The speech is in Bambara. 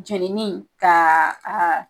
Jenini ka a